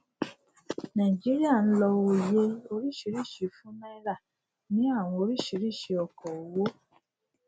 naijiria ń lọ òye oríṣiríṣi fún náírà ni àwọn oríṣiríṣi ọkọ owó